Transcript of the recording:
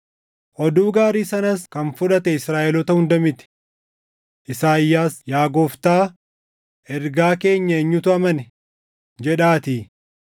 Oduu gaarii sanas kan fudhate Israaʼeloota hunda miti. Isaayyaas, “Yaa Gooftaa, ergaa keenya eenyutu amane?” + 10:16 \+xt Isa 53:1\+xt* jedhaatii.